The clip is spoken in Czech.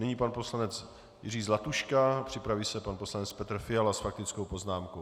Nyní pan poslanec Jiří Zlatuška, připraví se pan poslanec Petr Fiala s faktickou poznámkou.